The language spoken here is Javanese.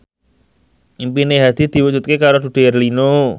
impine Hadi diwujudke karo Dude Herlino